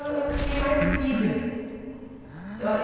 Eu eu fiquei mais filha. Eu